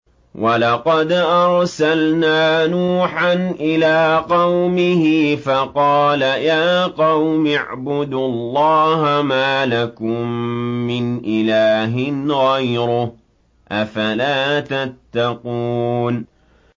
وَلَقَدْ أَرْسَلْنَا نُوحًا إِلَىٰ قَوْمِهِ فَقَالَ يَا قَوْمِ اعْبُدُوا اللَّهَ مَا لَكُم مِّنْ إِلَٰهٍ غَيْرُهُ ۖ أَفَلَا تَتَّقُونَ